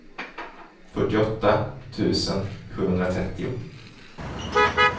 fyrtioåtta tusen sjuhundratrettio